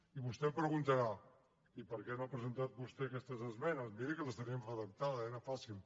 i vostè em preguntarà i per què no ha presentat vostè aquestes esmenes miri que les tenien redactades era fàcil